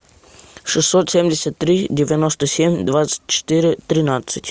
шестьсот семьдесят три девяносто семь двадцать четыре тринадцать